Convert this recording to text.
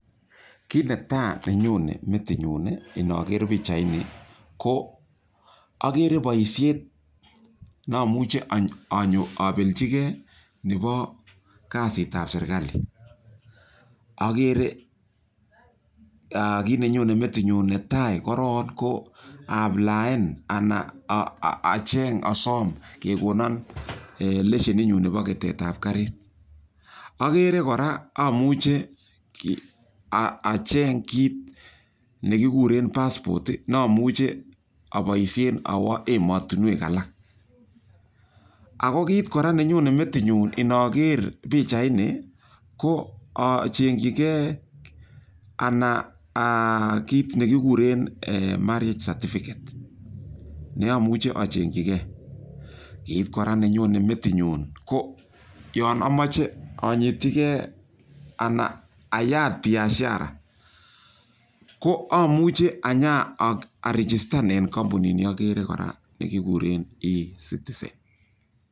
Kiit ne tai ne nyone metit nyu inaker pichaini ko akere poishet ne amuchi anyo apelchigei nepo kasit ap serkali. Akere , kiit ne nyone metit nyun netai korok ko aaplaan anan acheng' asam kekona lesenitnyun nepo ketet ap karit. Akere kora amuchi acheng' kit ne kikuren passport ne amuchi apoishen awa ematunwek alak. Ako kit kora ne nyone metinyun inaker pichaini, ko acheng'chigei anan kit ne kikuren marriage certificate ko kit age ne amuchi acheng'chigei. Kiit kora ne nyone metitnyun ko yan amache anyitchigei anan ayat biashara, ko amuchi anya arejistan en kampunini akere kora ni kukren Ecitizen.